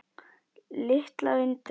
Litla undrið.